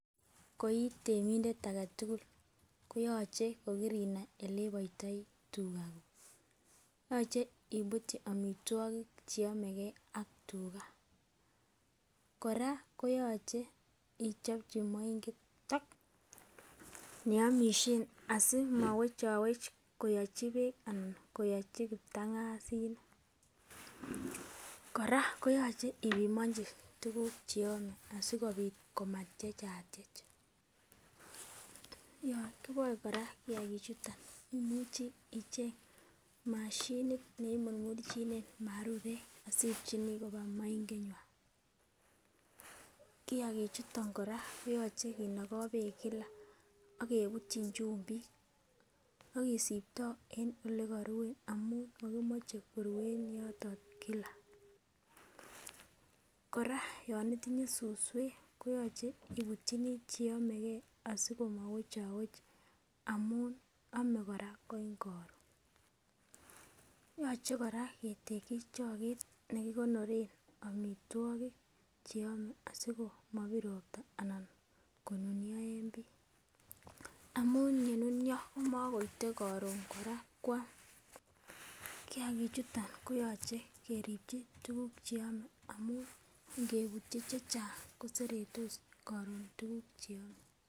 Ko itemindet agetukul koyoche ko kirinai oleiboitoi tugaa kuk, yoche ibutyi omitwokik cheyomegee ak tugaa. koraa koyoche ichopchi moinget neomishen asimowechowech koyochi beek anan koyochi kiptangazinik. Koraa koyoche ipimonchi tykuku chekiome asikopit komatyechatyech, yon kiboe koraa kiyakik chuton imuchi icheng moshinit neimurmurchinen marurek asiibchinii koba moinget nywan. Kiyakik chuton koraa koyoche kinogo beek kila ak kebutchin chumbik ak kisibtoo en olekorue amun mokimoche koruen yoton kila. Koraa yon itinye suswwk koyoche ibutyinii cheyomegee asikomowechowech amun ome koraa en korun. Yoche koraa keteki chotet nekikonoren omitwokik asikomobir ropta anan konunio en bii amun yenunio komokoite korun koraa kwam. Kiyagik chuton koyoche keribchi tukuk cheome amun ingebutyi chechang koseretos korun tukuk cheome.